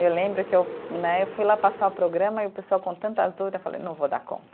Eu lembro que eu né, eu fui lá passar o programa e o pessoal com tantas dúvidas, eu falei, não vou dar conta.